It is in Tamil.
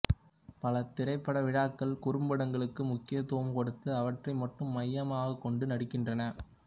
பல திரைப்ப விழாக்கள் குறும்படங்களுக்கு முக்கியத்துவம் கொடுத்து அவற்றை மட்டும் மையமாகக் கொண்டும் நடக்கின்றன